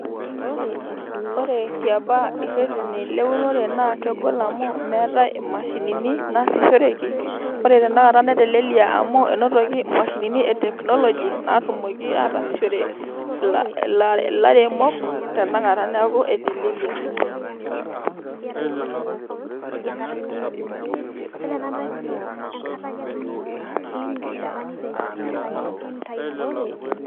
ore tiapa irreteni leunore naa kegol amu meetay imashinini naasishoreki ore tenakata netelelia amu enotoki imashinini e teknoloji naatumoki aatasishore ila ilaremok tena kata neeku etelelia.